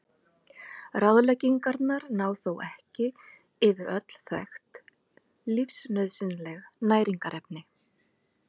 Ráðleggingarnar ná þó ekki yfir öll þekkt lífsnauðsynleg næringarefni.